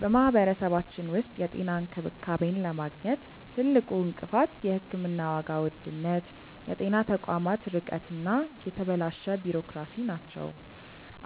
በማህበረሰባችን ውስጥ የጤና እንክብካቤን ለማግኘት ትልቁ እንቅፋት የሕክምና ዋጋ ውድነት፣ የጤና ተቋማት ርቀት እና የተበላሸ ቢሮክራሲ ናቸው።